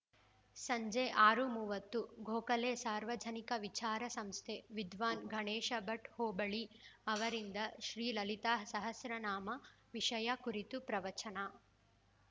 ಸಂಜೆ ಆರು ಮೂವತ್ತು ಗೋಖಲೆ ಸಾರ್ವಜನಿಕ ವಿಚಾರ ಸಂಸ್ಥೆ ವಿದ್ವಾನ್‌ ಗಣೇಶಭಟ್ಟಹೋಬಳಿ ಅವರಿಂದ ಶ್ರೀಲಲಿತಾಸಹಸ್ರನಾಮ ವಿಷಯ ಕುರಿತು ಪ್ರವಚನ